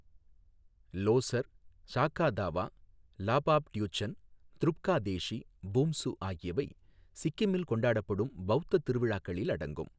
லோஸர், சாகா தாவா, லாபாப் ட்யூச்சன், துருப்கா தேஷி, பூம்சு ஆகியவை சிக்கிமில் கொண்டாடப்படும் பௌத்த திருவிழாக்களில் அடங்கும்.